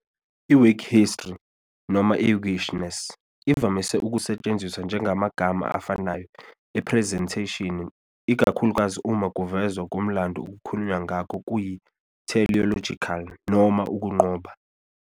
"I-whig history" noma "whiggishness" ivamise ukusetshenziswa njengamagama afanayo "ephrezentheshini" ikakhulukazi uma ukuvezwa komlando okukhulunywa ngakho kuyi- teleological noma ukunqoba.